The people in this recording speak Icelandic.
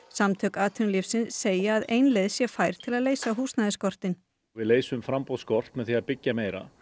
samtök atvinnulífsins segja að ein leið sé fær til að leysa húsnæðisskortinn við leysum með því að byggja meira